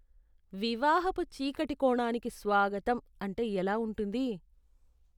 "వివాహపు చీకటి కోణానికి స్వాగతం" అంటే ఎలా ఉంటుంది